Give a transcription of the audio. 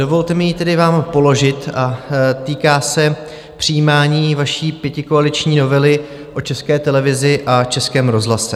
Dovolte mi ji tedy vám položit a týká se přijímání vaší pětikoaliční novely o České televizi a Českém rozhlase.